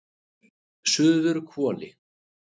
Suðurhvoli